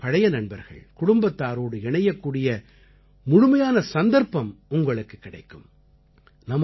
நீங்கள் உங்கள் பழைய நண்பர்கள் குடும்பத்தாரோடு இணையக்கூடிய முழுமையான சந்தர்ப்பம் உங்களுக்குக் கிடைக்கும்